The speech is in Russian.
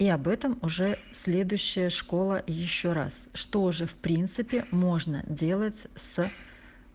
и об этом уже следующая школа ещё раз что уже в принципе можно делать с